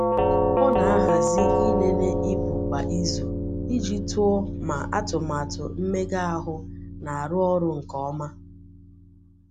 Ọ na-ahazi ịlele ibu kwa izu iji tụọ ma atụmatụ mmega ahụ na-arụ ọrụ nke ọma.